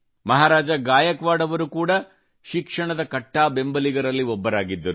ಮಹಾರಾಜಾ ಗಾಯಕ್ವಾಡ್ ಅವರು ಕೂಡಾ ಶಿಕ್ಷಣದ ಕಟ್ಟಾ ಬೆಂಬಲಿಗರಲ್ಲಿ ಒಬ್ಬರಾಗಿದ್ದರು